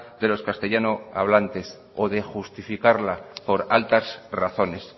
de los castellano hablantes o de justificarla por altas razones